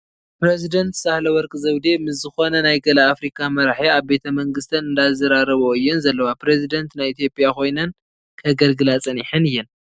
ፕረዚደን ሳህለወቅ ዘውዴ ምስ ዝኽነ ገለ ናይ ኣፍቲካ መራሒ ኣብ ቤተ መንግስተን እንዳዘራረበኦ እየን ዘለዋ ፡ ፕረዚደን ናይ ኢ/ያ ኽይነን ከገልግላ ፀኒሓን እየን ።